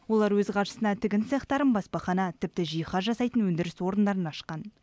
олар өз қаржысына тігін цехтарын баспахана тіпті жиһаз жасайтын өндіріс орындарын ашқан